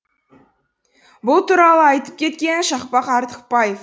бұл туралы айтып кеткен шақпақ артықбаев